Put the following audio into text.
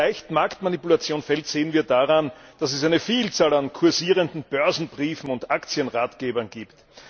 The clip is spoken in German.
Wie leicht Marktmanipulation fällt, sehen wir daran, dass es eine Vielzahl an kursierenden Börsenbriefen und Aktienratgebern gibt.